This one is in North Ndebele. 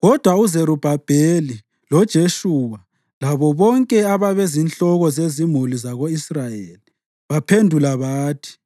Kodwa uZerubhabheli, loJeshuwa labo bonke ababezinhloko zezimuli zako-Israyeli baphendula bathi,